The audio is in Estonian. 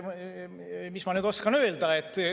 Mis ma oskan öelda ...